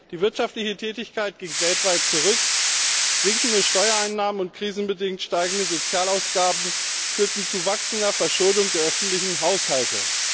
Die wirtschaftliche Tätigkeit ging weltweit zurück, sinkende Steuereinnahmen und krisenbedingt steigende Sozialausgaben führten zu wachsender Verschuldung der öffentlichen Haushalte.